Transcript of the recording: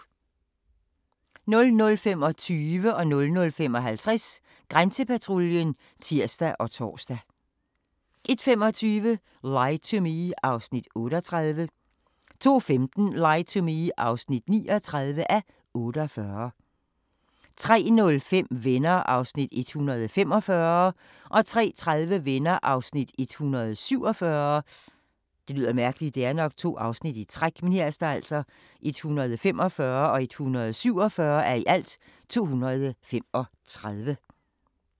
00:25: Grænsepatruljen (tir og tor) 00:55: Grænsepatruljen (tir og tor) 01:25: Lie to Me (38:48) 02:15: Lie to Me (39:48) 03:05: Venner (145:235) 03:30: Venner (147:235)